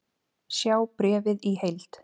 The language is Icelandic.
Sjá bréfið í heild